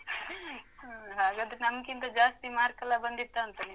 ಹ್ಮ್ ಹಾಗಾದ್ರೆ ನಮ್ಗಿಂತ ಜಾಸ್ತಿ mark ಲ್ಲ ಬಂದಿತ್ತಾಂತ ನಿಮ್ಗೆ?